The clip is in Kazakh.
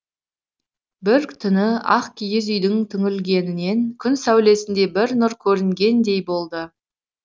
бір түні ақ киіз үйдің түңлігінен күн сәулесіндей бір нұр көрінгендей болды